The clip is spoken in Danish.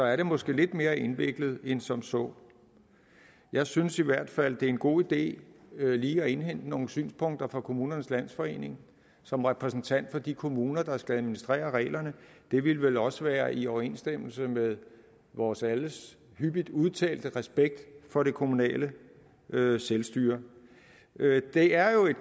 er det måske lidt mere indviklet end som så jeg synes i hvert fald det er en god idé lige at indhente nogle synspunkter fra kommunernes landsforening som repræsentant for de kommuner der skal administrere reglerne det ville vel også være i overensstemmelse med vores alles hyppigt udtalte respekt for det kommunale selvstyre det er jo